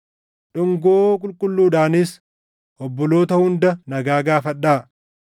Dhungoo qulqulluudhaanis obboloota hunda nagaa gaafadhaa.